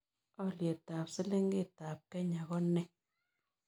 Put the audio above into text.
Olyetap silingiitap kenya ko nee